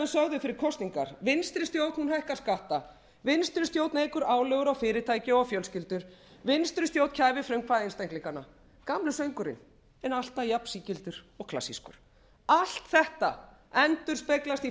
sögðum fyrir kosningar vinstri stjórn hækkar skatta vinstri stjórn eykur álögur á fyrirtæki og fjölskyldur vinstri stjórn kæfir frumkvæði einstaklinganna gamli söngurinn en alltaf jafn sígildur og klassískur allt þetta endurspeglast í